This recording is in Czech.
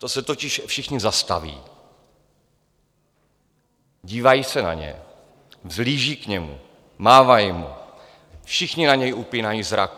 To se totiž všichni zastaví, dívají se na ně, vzhlížejí k němu, mávají mu, všichni na něj upírají zrak.